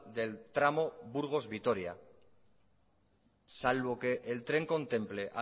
del tramo burgos vitoria salvo que el tren contemple